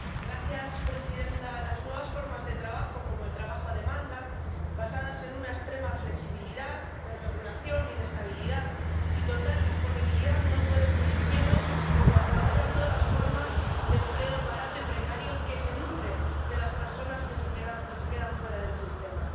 Señora presidenta, las nuevas formas de trabajo, como el trabajo a demanda, basadas en una extrema flexibilidad de regulación, inestabilidad y total disponibilidad no pueden seguir siendo, como hasta ahora, nuevas formas de empleo barato y precario que se nutren de las personas que se quedan fuera del sistema.